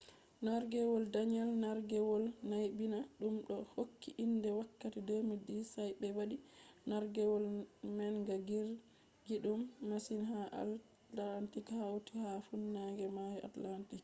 nargewol danielle nargewol naybina dum be hokki inde wakkati 2010 sa’a be wadi nargewol manga girgidum masin ha atlantic hauti ha funange mayo atlantic